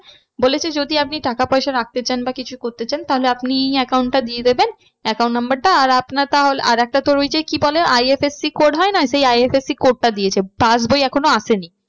বলেছে যদি আপনি টাকা পয়সা রাখতে চান বা কিছু করতে চান তাহলে আপনি এই account টা দিয়ে দেবেন। account number টা আর আপনার আর একটা ওই যে কি বলে IFSC code হয় না সেই IFSC code টা দিয়েছে pass বই এখনো আসেনি।